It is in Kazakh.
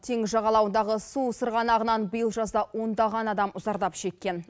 теңіз жағалауындағы су сырғанағынан биыл жазда ондаған адам зардап шеккен